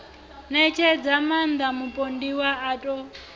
ṋetshedza maaṋda mupondiwa a ṱo